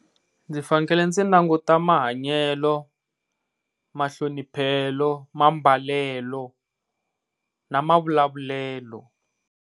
Ndzi fanekele ndzi languta mahanyelo, mahloniphelo, mambalelo na mavulavulelo.